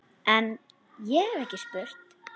En- ég hef ekki spurt.